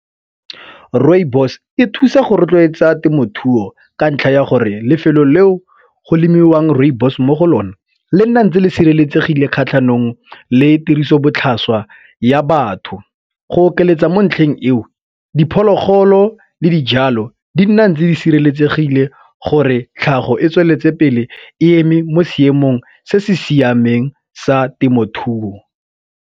Rooibos e thusa go rotloetsa temothuo ka ntlha ya gore lefelo leo go lemiwang rooibos mo go lone le nna ntse le sireletsegile kgatlhanong le tirisobotlhaswa ya batho. Go okeletsa mo ntlheng eo diphologolo le dijalo di nna ntse di sireletsegile gore tlhago e tsweletse pele e eme mo seemong se se siameng sa temothuo.